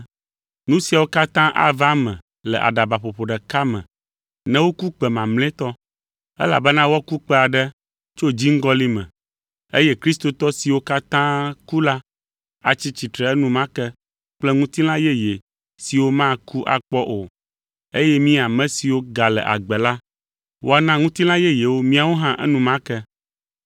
Nu siawo katã ava eme le aɖabaƒoƒo ɖeka me ne woku kpẽ mamlɛtɔ. Elabena woaku kpẽ aɖe tso dziŋgɔlĩ me eye kristotɔ siwo katã ku la atsi tsitre enumake kple ŋutilã yeye siwo maku akpɔ o eye mí ame siwo gale agbe la, woana ŋutilã yeyewo míawo hã enumake.